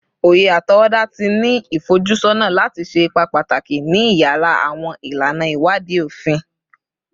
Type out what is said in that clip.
Oye atọwọda ti ni ifojusọna lati ṣe ipa pataki ni iyara awọn ilana iwadii ofin